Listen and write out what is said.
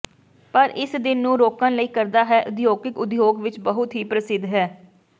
ਪਰ ਇਸ ਦਿਨ ਨੂੰ ਰੋਕਣ ਨਹੀ ਕਰਦਾ ਹੈ ਉਦਯੋਗਿਕ ਉਦਯੋਗ ਵਿੱਚ ਬਹੁਤ ਹੀ ਪ੍ਰਸਿੱਧ ਹੈ